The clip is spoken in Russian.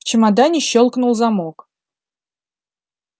в чемодане щёлкнул замок